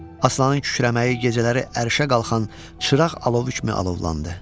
Aslanın kükrəməyi gecələri ərişə qalxan çıraq alovu kimi alovlandı.